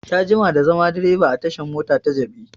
Ya jima da zaman direba a tashan mota ta jabi